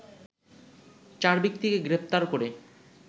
চার ব্যক্তিকে গ্রেপ্তার করে